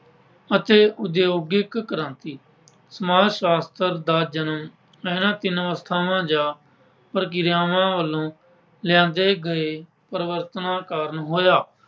ਅਤੇ ਉੱਦਯੋਗਿਕ ਕ੍ਰਾਂਤੀ। ਸਮਾਜ ਸ਼ਾਸਤਰ ਦਾ ਜਨਮ ਇਹਨਾਂ ਤਿੰਨ ਅਵਸਥਾਵਾਂ ਜਾਂ ਪ੍ਰਕਿਰਿਆਵਾਂ ਵੱਲੋਂ ਲਿਆਂਦੇ ਗਏ ਪਰਿਵਰਤਨਾਂ ਕਾਰਨ ਹੋਇਆ।